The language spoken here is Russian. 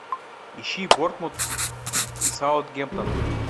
ищи борнмут саутгемптон